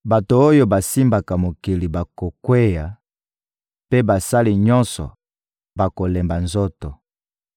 Bato oyo basimbaka mokili bakokweya, mpe basali nyonso bakolemba nzoto.